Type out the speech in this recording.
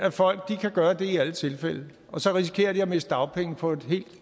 at folk kan gøre det i alle tilfælde og så risikerer de at miste dagpenge på et helt